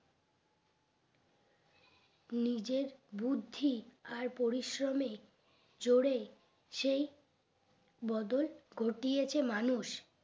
নিজের বুদ্ধি আর পরিশ্রমে জোরে সেই বদল ঘটিয়েছে মানুষ